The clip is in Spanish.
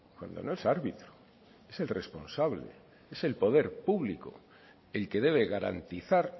cuando no es árbitro es el responsable es el poder público el que debe garantizar